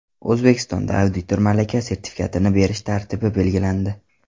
O‘zbekistonda auditor malaka sertifikatini berish tartibi belgilandi.